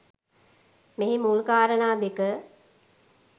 මෙහි මුල් කාරණා දෙක